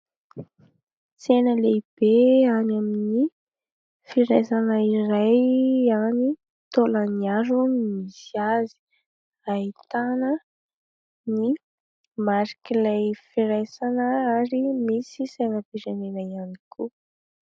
Tsena lehibe any amin'ny firaisana iray, any Taolagnaro no misy azy ; ahitana ny marik'ilay firaisana ary misy sainam-pirenena ihany koa.